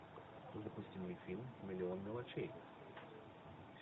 запусти мне фильм миллион мелочей